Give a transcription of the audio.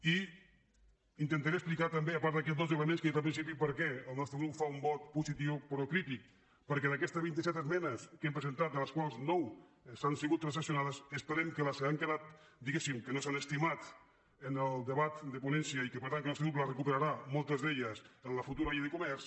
i intentaré explicar també a part d’aquests dos elements que he dit al principi per què el nostre grup fa un vot positiu però crític perquè d’aquestes vint i set esmenes que hem presentat de les quals nou han sigut transaccionades esperem que les que han quedat diguéssim que no s’han estimat en el debat de ponència i que per tant el nostre grup recuperarà moltes d’elles en la futura llei de comerç